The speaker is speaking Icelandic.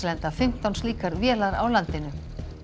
lenda fimmtán slíkar vélar á landinu